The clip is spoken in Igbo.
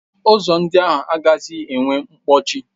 Ụzọ ndị ahụ agaghịzi enwe nkpọchi.